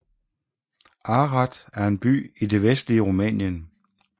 Arad er en by i det vestlige Rumænien